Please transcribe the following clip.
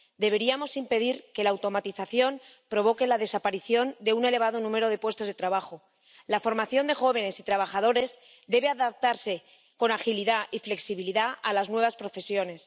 Deberíamos impedir que la automatización provoque la desaparición de un elevado número de puestos de trabajo. La formación de jóvenes y trabajadores debe adaptarse con agilidad y flexibilidad a las nuevas profesiones.